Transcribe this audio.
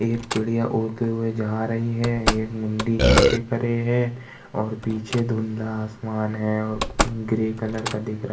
एक चिड़िया उड़ते हुए जा रही है। एक मुंडी नीचे करे है और पीछे दुँधला आसमान है और ग्रे कलर का दिख रहा --